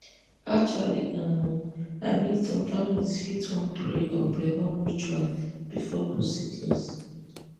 actually um i mean some families fit wan pray or perform rituals before procedures